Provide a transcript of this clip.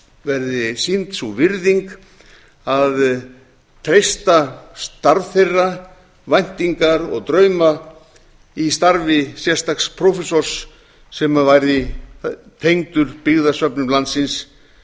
verði sýnd sú virðing að treysta starf þeirra væntingar og drauma í starfi sérstaks prófessors sem verði tengdur byggðasöfnum landsins